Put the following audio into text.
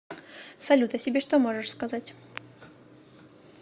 салют о себе что можешь сказать